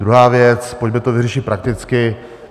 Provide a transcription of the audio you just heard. Druhá věc: pojďme to vyřešit prakticky.